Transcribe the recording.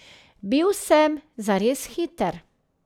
Bil sem zares hiter.